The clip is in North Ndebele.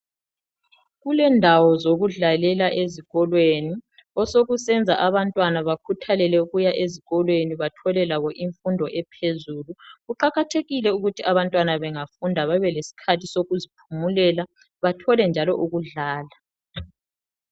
Kulendawo zokudlalela ezikolweni, osokusenza abantwana bakhuthalele ukuya ezikolweni bathole labo imfundo ephezulu. Kuqakathekile ukuthi abantwana bengafunda babe lesikhathi sokuziphumelela, bathole njalo ukudlala.